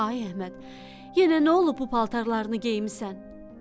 Ay Əhməd, yenə nə olub bu paltarlarını geyinmisən?